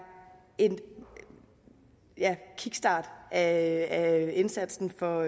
en kickstart af indsatsen for